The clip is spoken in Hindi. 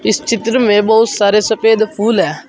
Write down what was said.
इस चित्र में बहुत सारे सफेद फूल है।